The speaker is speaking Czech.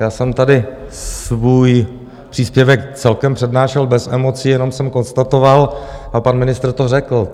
Já jsem tady svůj příspěvek celkem přednášel bez emocí, jenom jsem konstatoval, a pan ministr to řekl.